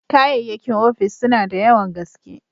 Kayyakin ofis suna da yawan gaske.